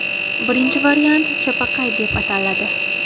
Birinchi variant ‘Chapaqay’ deb ataladi.